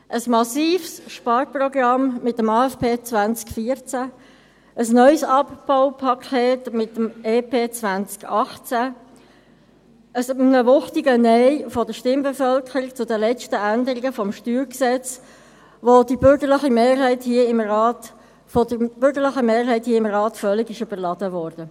Ein massives Sparprogramm mit dem AFP 2014, ein neues Abbaupaket mit dem Entlastungspaket (EP) 2018 und ein wuchtiges Nein der Stimmbevölkerung zu den letzten Änderungen des Steuergesetzes (StG), welches von der bürgerlichen Mehrheit hier im Rat völlig überladen wurde.